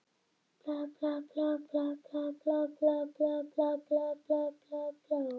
Það gat því vel verið eitthvað þarna á sveimi sem Týri óttaðist.